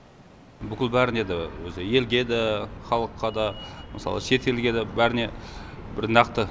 бүкіл бәріне де өзі елге де халыққа да мысалы шетелге де бәріне бір нақты